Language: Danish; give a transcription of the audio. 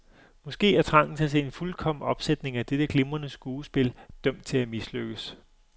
Måske er trangen til at se en fuldkommen opsætning af dette glimrende skuespil dømt til at mislykkes.